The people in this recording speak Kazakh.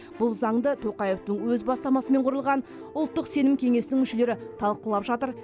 бұл заңды тоқаевтың өз бастамасымен құрылған ұлттық сенім кеңесінің мүшелері талқылап жатыр